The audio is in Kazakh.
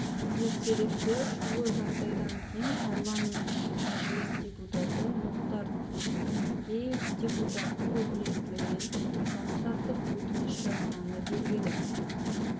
ертеректе шулы жағдайдан кейін парламентінің мәжіліс депутаты мұхтар тінікеев депутаттық өкілеттілігінен бас тартып өтініш жазғаны белгілі